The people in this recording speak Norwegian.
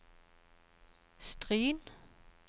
Stryn